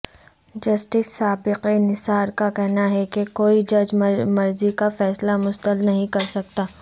justice Saqib Nisar کا کہنا ہے کہ کوئی جج مرضی کا فیصلہ مسلط نہیں کرسکتا